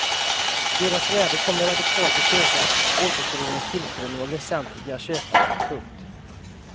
Deras värde kommer radikalt att öka återföreningens tillströmning av västliga köpare. punkt